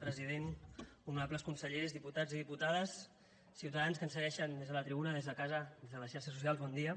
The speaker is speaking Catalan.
president honorables consellers diputats i diputades ciutadans que ens segueixen des de la tribuna des de casa des de les xarxes socials bon dia